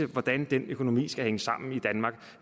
hvordan den økonomi skal hænge sammen i danmark